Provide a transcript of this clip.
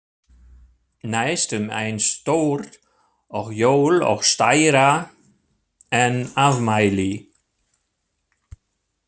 Næstum eins stórt og jól og stærra en afmæli.